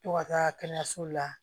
To ka taa kɛnɛyaso la